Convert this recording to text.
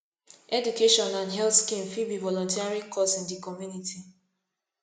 education and health scheme fit be volunteering cause in di community